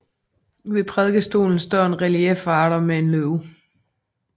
Ved prædikestolen står en reliefkvader med en løve